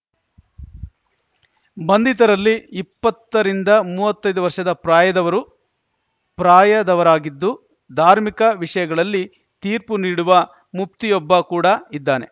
ಬಂಧಿತರಲ್ಲಿ ಇಪ್ಪತ್ತ ರಿಂದ ಮೂವತ್ತೈದು ವರ್ಷದ ಪ್ರಾಯದವರು ಪ್ರಾಯದವರಾಗಿದ್ದು ಧಾರ್ಮಿಕ ವಿಷಯಗಳಲ್ಲಿ ತೀರ್ಪು ನೀಡುವ ಮುಫ್ತಿಯೊಬ್ಬ ಕೂಡ ಇದ್ದಾನೆ